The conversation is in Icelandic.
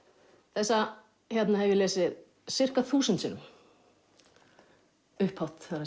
þessa hérna hef ég lesið ca þúsund sinnum upphátt það